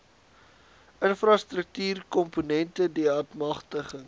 infrastruktuurkomponente deat magtiging